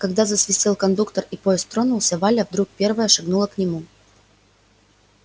а когда засвистел кондуктор и поезд тронулся валя вдруг первая шагнула к нему